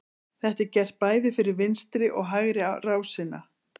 Þetta er gert bæði fyrir vinstri og hægri rásina.